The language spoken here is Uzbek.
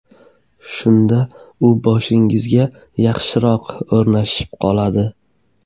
Shunda u boshingizga yaxshiroq o‘rnashib qoladi.